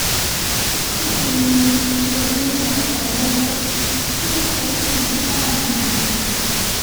níṣẹ́ ni ilé-ẹjọ́ náà pa lọ́lọ́ tí ọ̀pọ̀ sì ń káàánú rẹ̀